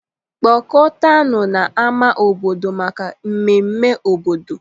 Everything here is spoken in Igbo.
Kpọkọtanụ n'ámá obodo maka ememme obodo.